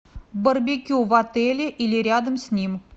барбекю в отеле или рядом с ним